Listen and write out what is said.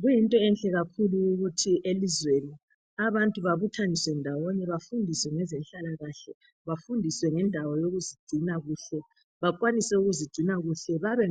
Kuyinto enhle kakhulu kuthi elizweni. abantu babuthaniswe ndawonye. Bafundiswe ngezenhlalakahle. Bafundiswe ngendawo yokuzigcina kuhle. Bakwanise ukuzigcina kuhle. Babe